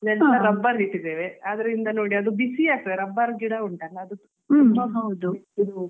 ಅಲ್ಲಿ ಕೂಡ ತುಂಬ ಕಾಡು ಇತ್ತು rubber ಇಟ್ಟಿದ್ದೇವೆ ಅದ್ರಿಂದ ನೋಡಿ ಅದು ಬಿಸಿ ಆಗ್ತದೆ rubber ಗಿಡ